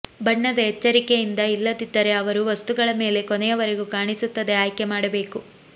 ಬಣ್ಣದ ಎಚ್ಚರಿಕೆಯಿಂದ ಇಲ್ಲದಿದ್ದರೆ ಅವರು ವಸ್ತುಗಳ ಮೇಲೆ ಕೊನೆಯವರೆಗೂ ಕಾಣಿಸುತ್ತದೆ ಆಯ್ಕೆ ಮಾಡಬೇಕು